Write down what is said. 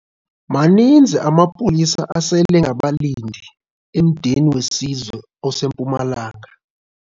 Maninzi amapolisa aselengabalindi emdeni wesizwe oseMpumalanga.